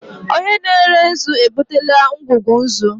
Onye na-ere nzu ebutela ngwugwu nzu.